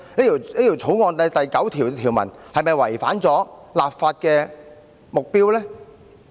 《條例草案》第9條又是否違反了立法的目標呢？